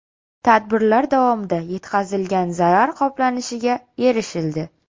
Tadbirlar davomida yetkazilgan zarar qoplanishiga erishildi.